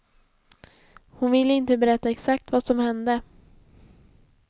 Hon vill inte berätta exakt vad som hände.